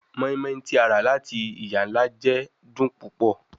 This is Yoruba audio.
Moinmoin ti a ra lati iya-nla jẹ dun pupọ